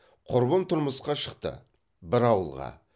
құрбым тұрмысқа шықты бір ауылға